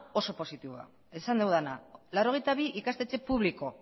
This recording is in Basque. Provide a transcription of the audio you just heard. oso positiboa da esan dudana laurogeita bi ikastetxe publiko